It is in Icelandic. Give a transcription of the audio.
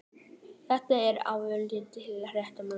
Þetta er auðvitað alveg rétt hjá mömmu.